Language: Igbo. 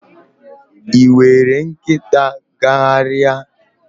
Ị were nkịta gagharịa?